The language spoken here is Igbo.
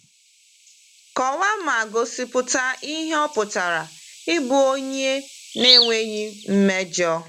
Kọwaa ma gosipụta ihe ọ pụtara ịbụ onye na-enweghị mmejọ.